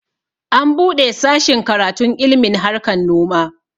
An buɗe sashin karatun ilmin harkan noma